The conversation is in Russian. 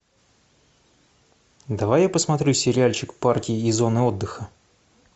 давай я посмотрю сериальчик парки и зоны отдыха